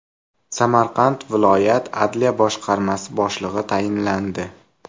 Samarqand viloyat Adliya boshqarmasi boshlig‘i tayinlandi.